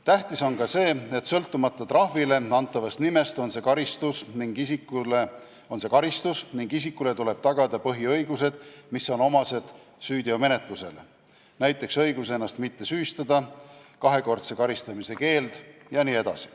Tähtis on ka see, et sõltumata trahvile antavast nimest, on see karistus ning isikule tuleb tagada põhiõigused, mis on omased süüteomenetlusele, näiteks õigus ennast mitte süüstada, kahekordse karistamise keeld jne.